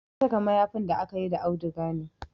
Na saka mayafin da akayi da auduga ne